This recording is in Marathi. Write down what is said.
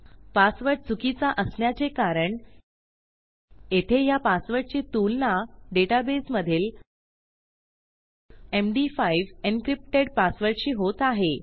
पासवर्ड चुकीचा असण्याचे कारण येथे ह्या पासवर्डची तुलना डेटाबेसमधील md5 एन्क्रिप्टेड पासवर्डशी होत आहे